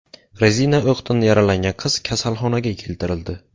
Rezina o‘qdan yaralangan qiz kasalxonaga keltirildi.